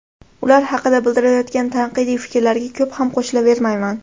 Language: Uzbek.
Ular haqida bildirilayotgan tanqidiy fikrlarga ko‘p ham qo‘shilavermayman.